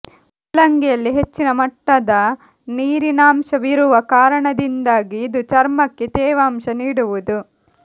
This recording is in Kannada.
ಮೂಲಂಗಿಯಲ್ಲಿ ಹೆಚ್ಚಿನ ಮಟ್ಟದ ನೀರಿನಾಂಶವಿರುವ ಕಾರಣದಿಂದಾಗಿ ಇದು ಚರ್ಮಕ್ಕೆ ತೇವಾಂಶ ನೀಡುವುದು